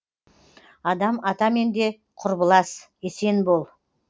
адам атамен де құрбылас есен бол